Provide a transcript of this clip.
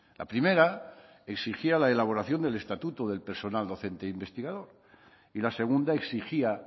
la primera exigía la elaboración del estatuto del personal docente investigador y la segunda exigía